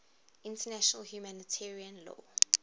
international humanitarian law